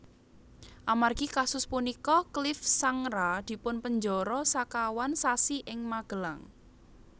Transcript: Amargi kasus punika Clift Sangra dipunpenjara sekawan sasi ing Magelang